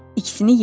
İkisini yedi,